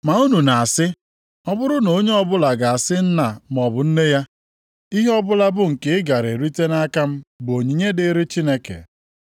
Ma unu na-asị, ọ bụrụ na onye ọbụla ga-asị nna maọbụ nne ya, ihe ọbụla bụ nke ị gara erite nʼaka m bụ ‘onyinye dịrị Chineke.’